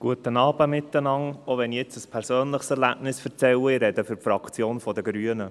Auch wenn ich nun ein persönliches Erlebnis erzähle, spreche ich für die Fraktion der Grünen.